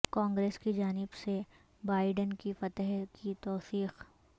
کانگریس کی جانب سے بائیڈن کی فتح کی توثیق